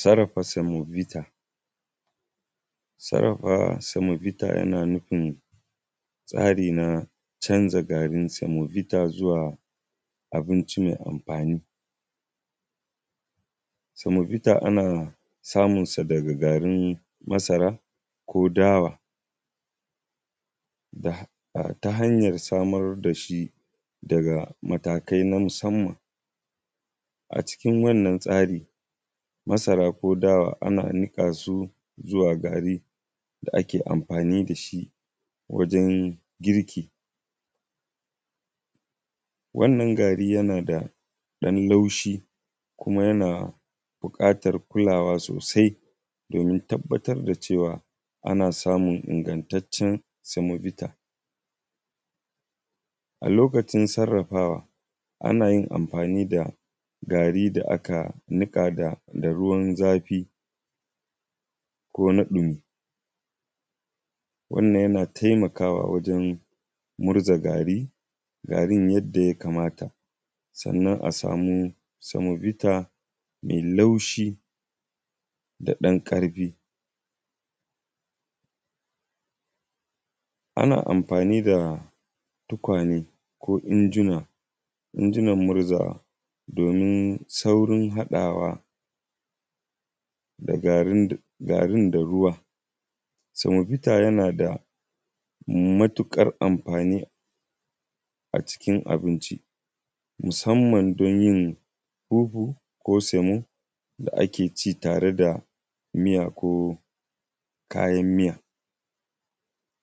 sarafa semovita sarafa semovita yana nufin tsari na canza garin semovita zuwa abinci mai amfani semovita ana samunsa daga garin masara ko dawa ta hanyar samar da shi daga matakai na musamman a cikin wannan tsarin masara ko dawa ana nuka su zuwa gari da ake amfani da shi wajen girki wannan gari yana da ɗan laushi kuma yana bukatar kulawa sosai domin tabbatar da cewa ana samun ingantaccen semovita a lokacin sarafawa ana yin amfani da gari da aka nika da ruwan zafi ko na ɗumi wannan yana taimakawa wajen murza gari garin yadda ya kamata sannan a samu semovita da laushi da ɗan karfi ana amfani da tuƙwane ko injuna injunan murzawa domin saurin haɗawa da garin da ruwa semovita yana da matukar amfani a cikin abinci musamman don yin huhu ko semo da ake ci tare da miya ko kayan miya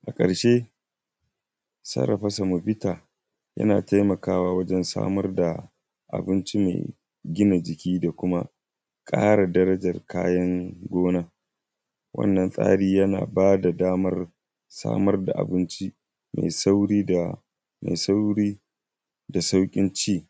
a karshe sarafa semovita yana taimakawa wajen samar da abinci mai gina jiki da kuma kara darajar kayan gonan wannan tsarin yana ba da damar samar da abinci da sauri da sauri da saukin ci